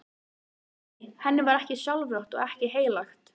Nei, henni var ekki sjálfrátt og ekkert heilagt.